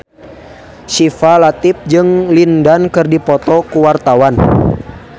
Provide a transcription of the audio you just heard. Syifa Latief jeung Lin Dan keur dipoto ku wartawan